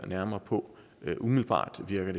nærmere på det umiddelbart virker